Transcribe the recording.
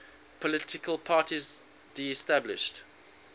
political parties disestablished